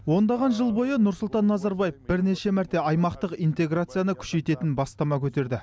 ондаған жыл бойы нұрсұлтан назарбаев бірнеше мәрте аймақтық интергацияны күшейтетін бастама көтерді